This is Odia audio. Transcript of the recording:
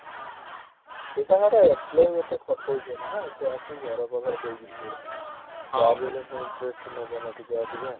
ହୁଁ ସେ ତାଙ୍କର employee ଏତେ ଖଟଉଛନ୍ତି ନା ସେ ଆସି ଘର ପାଖରେ ଦେଇକି ଯିବେ। ଯାହାବି ହେଲେ ସେ interest ନେବେ ନା ଟିକେ ଅଧିକା।